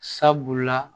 Sabula